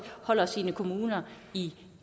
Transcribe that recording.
holder sine kommuner i